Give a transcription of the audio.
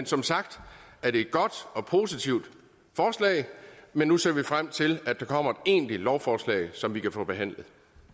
som sagt er det et godt og positivt forslag men nu ser vi frem til at der kommer egentligt lovforslag som vi kan få behandlet